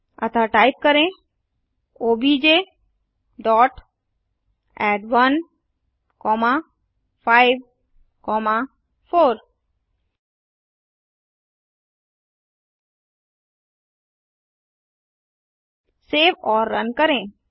अतः टाइप करें OBJ dot add 1 comma 5 comma 4 save और रन करें